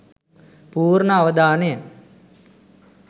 පූර්ණ අවධානය